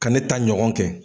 Ka ne ta ɲɔgɔn kɛ.